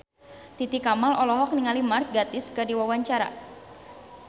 Titi Kamal olohok ningali Mark Gatiss keur diwawancara